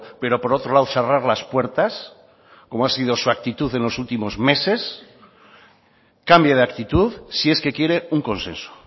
pero por otro lado cerrar las puertas como ha sido su actitud en los últimos meses cambie de actitud si es que quiere un consenso